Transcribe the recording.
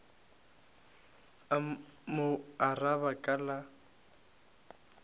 a mo araba ka la